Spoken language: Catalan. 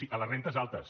sí a les rendes altes